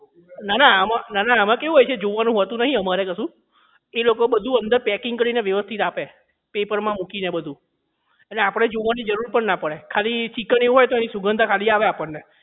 નાના આમાં નાના આમાં કેવું હોય છે જોવાનું હોતું કઈ નથી અમારે એવું એ લોકો બધું અંદર packing કરીને બધું વ્યવસ્થિત આપે પેપર માં મૂકીને બધું એટલે આપણે જોવાની જરૂર પણ ના પડે ચિકન ખાલી એવું હોય તો એની સુગંધ આવે ખાલી આપણને